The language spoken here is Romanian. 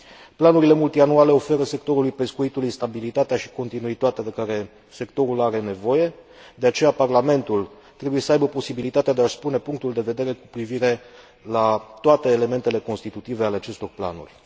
Planurile multianule oferă sectorului pescuitului stabilitatea și continuitatea de care sectorul are nevoie, de aceea, Parlamentul trebuie să aibă posibilitatea de a și spune punctul de vedere cu privire la toate elementele constitutive ale acestor planuri.